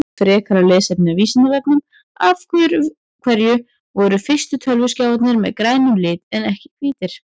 Frekara lesefni af Vísindavefnum Af hverju voru fyrstu tölvuskjáirnir með grænum lit en ekki hvítir?